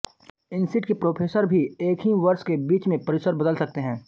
INSEAD के professor भी एक ही वर्ष के बीच में परिसर बदल सकते हैं